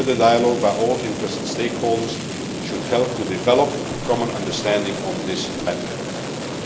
Further dialogue by all interested stakeholders should help to develop a common understanding on this matter.